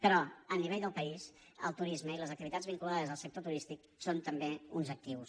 però a nivell del país el turisme i les activitats vinculades al sector turístic són també uns actius